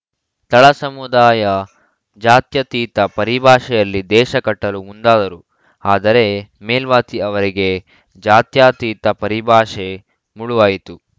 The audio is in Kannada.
ತಳಸಮುದಾಯ ಜಾತ್ಯತೀತ ಪರಿಭಾಷೆಯಲ್ಲಿ ದೇಶ ಕಟ್ಟಲು ಮುಂದಾದರು ಆದರೆ ಮೇಲ್ವಾತಿ ಅವರಿಗೆ ಜಾತ್ಯಾತೀತ ಪರಿಭಾಷೆ ಮುಳುವಾಯಿತು